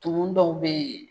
Tumu dɔw bɛ yen